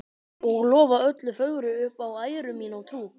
Og lofa öllu fögru upp á æru mína og trú.